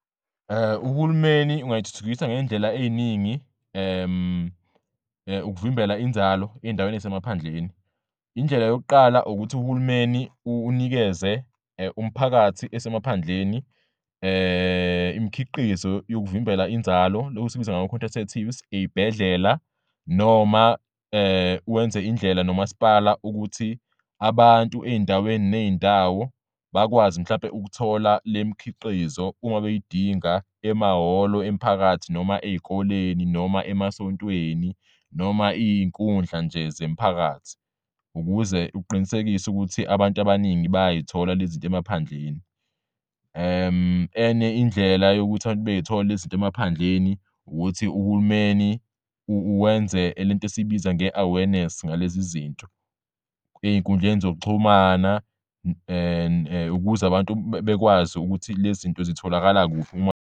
Uhulumeni ungayithuthukisa ngey'ndlela ey'ningi ukuvimbela inzalo ey'ndaweni ey'semaphandleni. Indlela yokuqala ukuthi uhulumeni unikeze umphakathi esemaphandleni imikhiqizo yokuvimbela inzalo lokhu sikubiza ngama-contraceptives ey'bhedlela noma wenze indlela noMasipala ukuthi abantu ey'ndaweni ney'ndawo bakwazi mhlampe ukuthola lemikhiqizo uma beyidinga emahholo emphakathi noma ey'koleni noma emasontweni noma iy'nkundla nje zemiphakathi ukuze uqinisekise ukuthi abantu abaningi bayay'thola lezinto emaphandleni. Enye indlela yokuthi abantu bey'thola lezinto emaphandleni ukuthi uhulumeni wenze lent' esiyibiza nge-awareness ngalezi zinto ey'nkundleni zokuxhumana ukuze abantu bekwazi ukuthi lezinto zitholakala kuphi .